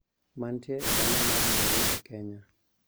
Mantie e dala mar Nairobi, Kenya,